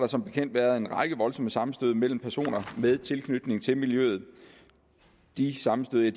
som bekendt været en række voldsomme sammenstød mellem personer med tilknytning til miljøet de sammenstød